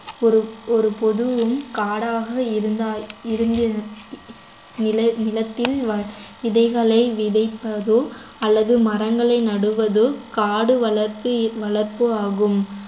ஒரு ஒரு பொதுவும் காடாக இருந்தால் இருந்தி~ நில~ நிலத்தில் வ~ விதைகளை விதைப்பதோ அல்லது மரங்களை நடுவதோ காடு வளர்த்து~ வளர்ப்பு ஆகும்